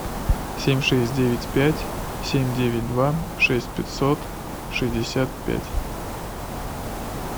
семь шесть девять пять семь девять два шесть пятьсот шестьдесят пять